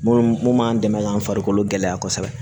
Mun mun b'an dɛmɛ k'an farikolo gɛlɛya kosɛbɛ